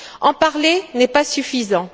En parler n'est pas suffisant.